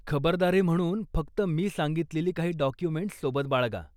खबरदारी म्हणून फक्त मी सांगितलेली काही डाॅक्युमेंटस् सोबत बाळगा.